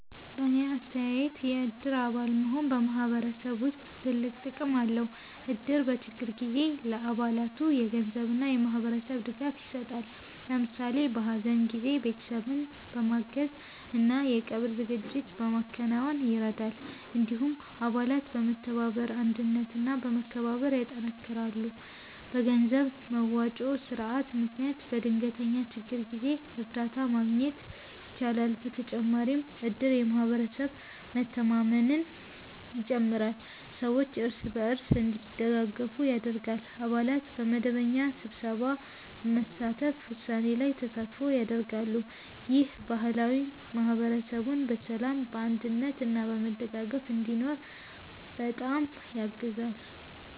በእኔ አስተያየት የእድር አባል መሆን በማህበረሰብ ውስጥ ትልቅ ጥቅም አለው። እድር በችግር ጊዜ ለአባላቱ የገንዘብ እና የማህበራዊ ድጋፍ ይሰጣል። ለምሳሌ በሀዘን ጊዜ ቤተሰብን በማገዝ እና የቀብር ዝግጅት በማከናወን ይረዳል። እንዲሁም አባላት በመተባበር አንድነት እና መከባበር ያጠናክራሉ። በገንዘብ መዋጮ ስርዓት ምክንያት በድንገተኛ ችግር ጊዜ እርዳታ ማግኘት ይቻላል። በተጨማሪም እድር የማህበረሰብ መተማመንን ይጨምራል፣ ሰዎች እርስ በርስ እንዲደጋገፉ ያደርጋል። አባላት በመደበኛ ስብሰባ በመሳተፍ ውሳኔ ላይ ተሳትፎ ያደርጋሉ። ይህ ባህል ማህበረሰቡን በሰላም፣ በአንድነት እና በመደጋገፍ እንዲኖር በጣም ያግዛል።